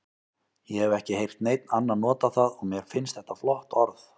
Ég hef ekki heyrt neinn annan nota það og mér finnst þetta flott orð.